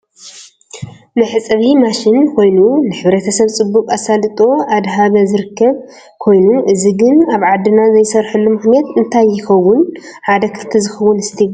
መሕፀቢ ማሽን ኮይኑ ንሕ/ሰብ ፅቡቅ ኣሳልጦ እደሃበ ዝርከብ ኮይኑ እዚ ግን ኣብ ዓዲና ዘይስረሐሉ ምክንያት እንታይ ይከው ሓደ ክልተ ዝከውን እስቲ ገለፁ?